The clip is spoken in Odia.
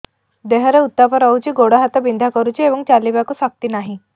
ଦେହରେ ଉତାପ ରହୁଛି ଗୋଡ଼ ହାତ ବିନ୍ଧା କରୁଛି ଏବଂ ଚାଲିବାକୁ ଶକ୍ତି ନାହିଁ